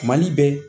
Mali bɛ